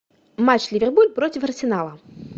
матч ливерпуль против арсенала